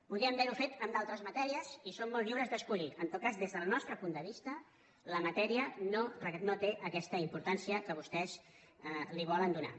podien haver ho fet en d’altres matèries i són molt lliures d’escollir en tot cas des del nostre punt de vista la matèria no té aquesta importància que vostès li volen donar